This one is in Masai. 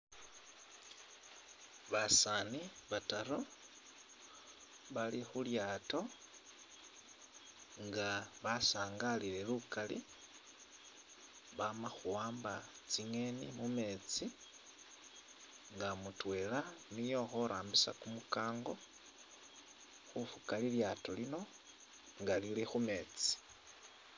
Basani bataru, bali khulyato nga basangalile lukali, bama khuwamba tsinyeni mumetsi nga mutwela niye ulikho arambisa kumukango khufuka lilyato lino nga lili khumetsi.